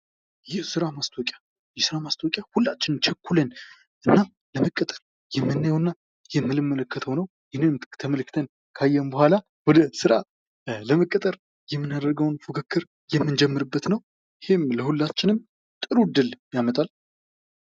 የስራ ማስታወቂያ የስራ ማስታወቂያ ሁላችንም ቸኩለን እና ለመቀጠር የምናየው እና የምንመለከተው ነው ።ይህንንም ተመልክተን ካየን በበኋላ ወደ ስራ ለመቀጠር የምናደርገውን ፉክክር የምንጀምርበት ነው። ይህም ለሁላችንም ጥሩ እድል ያመጣል።